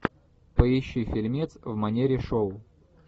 поищи фильмец в манере шоу